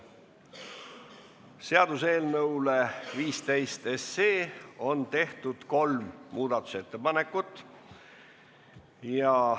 Seaduseelnõu 15 SE kohta on tehtud kolm muudatusettepanekut.